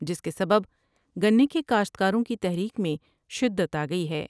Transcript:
جس کے سبب گنے کے کاشتکاروں کی تحریک میں شدت آ گئی ہے ۔